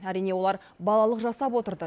әрине олар балалық жасап отырды